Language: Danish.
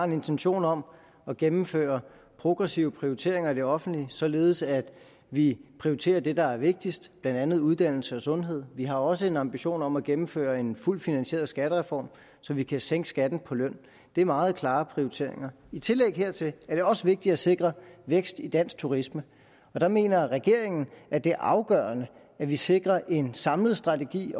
en intention om at gennemføre progressive prioriteringer i det offentlige således at vi prioriterer det der er vigtigst blandt andet uddannelse og sundhed vi har også en ambition om at gennemføre en fuldt finansieret skattereform så vi kan sænke skatten på løn det er meget klare prioriteringer i tillæg hertil er det også vigtigt at sikre vækst i dansk turisme og der mener regeringen at det er afgørende at vi sikrer en samlet strategi